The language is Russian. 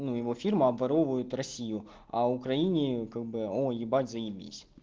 ну его фирма обворовывает россию а украине как бы он ебать заебись